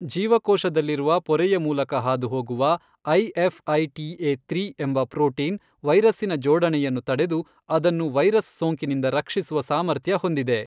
ಜೀವಕೋಶದಲ್ಲಿರುವ ಪೊರೆಯ ಮೂಲಕ ಹಾದುಹೋಗುವ ಐಎಫ್ಐಟಿಎ ತ್ರೀ ಎಂಬ ಪ್ರೋಟೀನ್ ವೈರಸ್ಸಿನ ಜೋಡಣೆಯನ್ನು ತಡೆದು ಅದನ್ನು ವೈರಸ್ ಸೋಂಕಿನಿಂದ ರಕ್ಷಿಸುವ ಸಾಮರ್ಥ್ಯ ಹೊಂದಿದೆ.